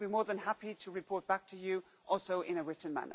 I will be more than happy to report back to you in writing.